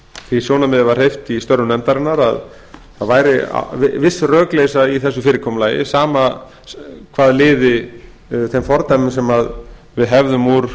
því sjónarmiði var hreyft í störfum nefndarinnar að það væri viss rökleiðsla í þessu fyrirkomulagi sama hvað liði þeim fordæmum sem við hefðum úr